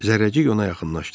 Zərrəcik ona yaxınlaşdı.